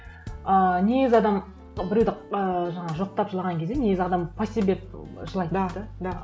ыыы негізі адам біреуді ы жаңағы жоқтап жылаған кезде негізі адам по себе жылайды да да